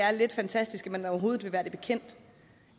er lidt fantastisk at man overhovedet vil være bekendt